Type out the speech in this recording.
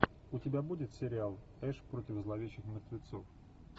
у тебя будет сериал эш против зловещих мертвецов